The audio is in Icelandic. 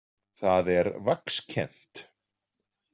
Það er vaxkennt.